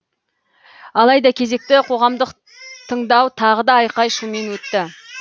алайда кезекті қоғамдық тыңдау тағы да айқай шумен өтті